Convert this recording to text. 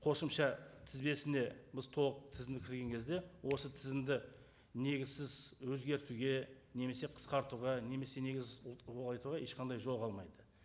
қосымша тізбесіне біз толық тізімді кірген кезде осы тізімді негізсіз өзгертуге немесе қысқартуға немесе негіз ұлғайтуға ешқандай жол қалмайды